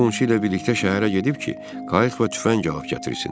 O qonşu ilə birlikdə şəhərə gedib ki, qayıq və tüfəng alıb gətirsin.